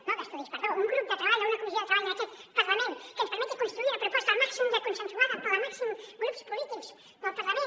no d’estudis perdó un grup de treball o una comissió de treball en aquest parlament que ens permeti construir una proposta el màxim de consensuada pel màxim de grups polítics del parlament